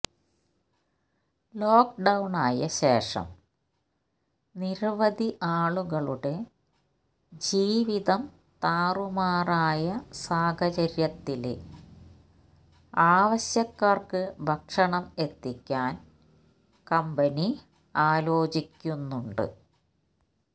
ലോക്ക്ഡൌണായ ശേഷം നിരവധി ആളുകളുടെ ജീവിതം താറുമാറായ സാഹചര്യത്തില് ആവശ്യക്കാര്ക്ക് ഭക്ഷണം എത്തിക്കാന് കമ്പനി ആലോചിക്കുന്നുണ്ട്